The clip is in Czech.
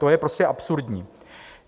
To je prostě absurdní.